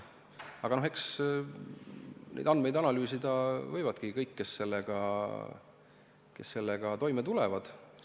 Aga eks neid andmeid analüüsida võivadki kõik, kes sellega toime tulevad.